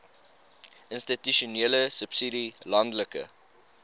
institusionele subsidie landelike